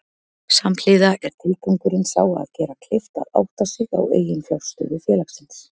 Samhliða er tilgangurinn sá að gera kleift að átta sig á eiginfjárstöðu félagsins.